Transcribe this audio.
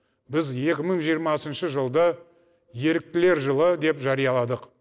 біз екі мың жиырмасыншы жылды еріктілер жылы деп жарияладық